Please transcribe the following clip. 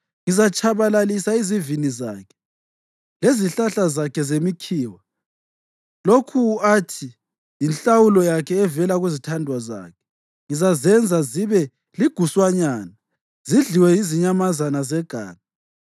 Ngizatshabalalisa izivini zakhe lezihlahla zakhe zemikhiwa, lokhu athi yinhlawulo yakhe evela kuzithandwa zakhe; ngizazenza zibe liguswanyana zidliwe yizinyamazana zeganga.